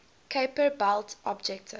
kuiper belt objects